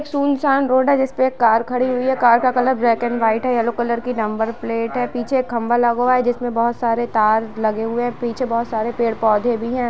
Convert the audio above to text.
सुनसान रोड है जिसपे एक कार खड़ी हुई है कार का कलर ब्लैक एण्ड व्हाइट है येलो कलर की नंबर प्लेट लगी हुई है पीछे एक खंबा लगा हुआ है जिसपे बहुत सारे तार लगे हुए है पीछे बोहोत सारे पोधे भी है।